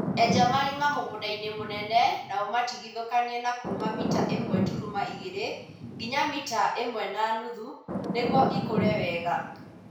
Enja marima mũgũndainĩ mũnene na ũmatigithũkanie na kuma mita ĩmwe turuma igĩri nginya mita ĩmwe na muthu nĩguo ĩkure wega